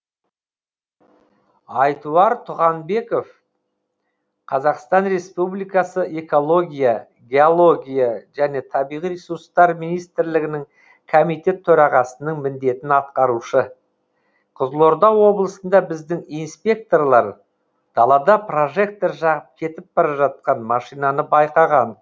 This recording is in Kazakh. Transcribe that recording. айтуар туғанбеков қазақстан республикасы экология геология және табиғи ресурстар министрлігінің комитет төрағасының міндетін атқарушы қызылорда облысында біздің инспекторлар далада прожектор жағып кетіп бара жатқан машинаны байқаған